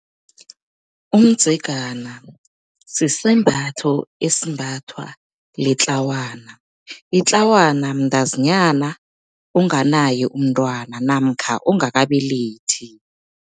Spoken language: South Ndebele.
Umdzegana sisembatho esimbathwa litlawana. Itlawana mntazinyana onganaye umntwana namkha ongakabelethi.